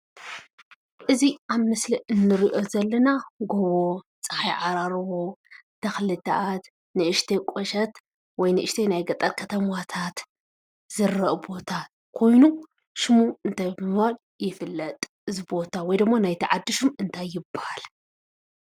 እዚ አብ ምስሊ እንሪኦ ዘለና ጎቦ ፀሓይ ዓራርቦ ተክልታት ንእሽተይ ቁሸት ወይ ንእሽተይ ናይ ገጠር ከተማታት ዝረአ ቦታ ኮይኑ ሽሙ እንታይ ብምባል ይፍለጥ? ወይ ድማ ናይቲ ዓዲ ሹም እንታይ ይበሃል?